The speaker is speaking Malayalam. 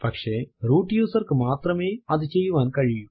പക്ഷെ റൂട്ട് user ക്ക് മാത്രമേ അതു ചെയ്യുവാൻ കഴിയൂ